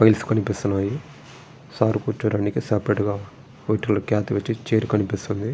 Files కనిపిస్తున్నాయి sir కూర్చోడానికి సపరేట్గా చైర్ కనిపిస్తుంది.